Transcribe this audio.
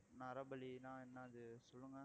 நரபலின்னா என்னது சொல்லுங்க